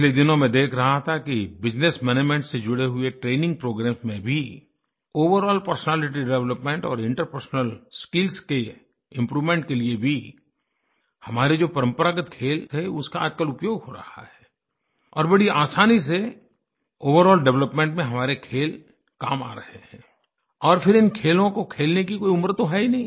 पिछले दिनों मैं देख रहा था कि बिजनेस मैनेजमेंट से जुड़े हुए ट्रेनिंग प्रोग्रामेस में भी ओवरॉल पर्सनैलिटी डेवलपमेंट और इंटरपर्सनल स्किल्स के इम्प्रूवमेंट के लिए भी हमारे जो परंपरागत खेल थे उसका आजकल उपयोग हो रहा है और बड़ी आसानी से ओवरॉल डेवलपमेंट में हमारे खेल काम आ रहे हैं और फिर इन खेलों को खेलने की कोई उम्र तो है ही नहीं